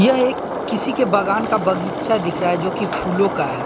यह एक किसी के बागान का बगीचा दिख रहा है जो कि फूलों का है।